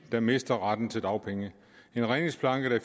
der mister retten til dagpenge en redningsplanke